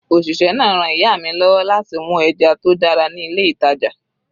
Òṣìṣẹ́ náà ran ìyá mi lọ́wọ́ láti mú ẹja tó dára ní ilé ìtàjà.